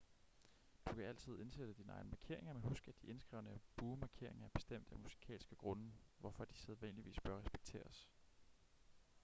du kan altid indsætte dine egne markeringer men husk at de indskrevne buemarkeringer er bestemt af musikalske grunde hvorfor de sædvanligvis bør respekteres